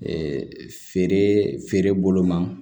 feere feere bolo ma